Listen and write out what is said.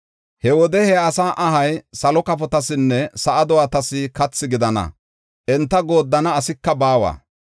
He wode he asaa ahay salo kafotasinne sa7a do7atas kathi gidana; enta gooddana asika baawa.